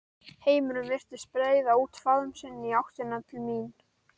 Heimurinn virtist breiða út faðm sinn í áttina til mín.